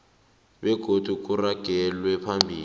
begodu kuragelwe phambili